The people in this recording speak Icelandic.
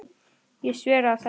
Ég sver að þetta.